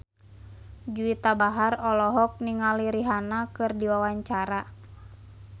Juwita Bahar olohok ningali Rihanna keur diwawancara